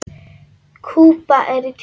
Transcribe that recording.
Kúba er í tísku.